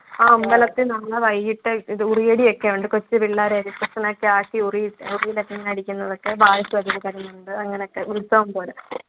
ആ അമ്പലത്തിൽ നിന്ന് വൈകിയിട്ട് കൊച്ച് പിള്ളാരെയൊക്കെ ഒക്കെ ആക്കി ഉറിയിൽ നിന്ന് അടിക്കുന്നത് അങ്ങനെയൊക്കെ ഉത്സവം പോലെ